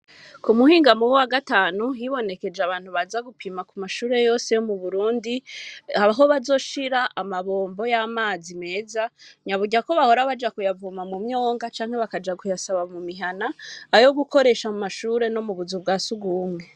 kumuhingamo wagatanu hibonekeje abantu baza kumashure yose yo mu Burundi aho bazoshira amabombo yamazi meza naburya bahora Baja kuyavoma mumwonga canke bakaja kuyasaba mumihana ayo gukoresha amashure no mukazu bwasugumwe.